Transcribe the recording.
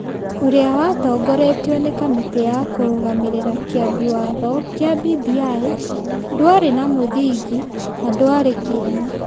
ũrĩa watongoretio nĩ Kamĩtĩ ya Kũrũgamĩrĩra Kĩambi Watho kĩa BBI, ndwarĩ na mũthingi na dwarĩ kĩene.